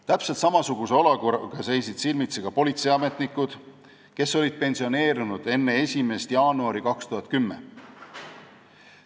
Täpselt samasuguse olukorraga seisid silmitsi politseiametnikud, kes olid pensioneerunud enne 1. jaanuari 2010.